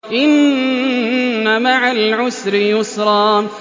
إِنَّ مَعَ الْعُسْرِ يُسْرًا